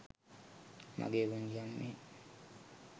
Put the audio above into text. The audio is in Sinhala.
මගේ පුංචි අම්මේ